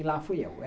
E lá fui eu.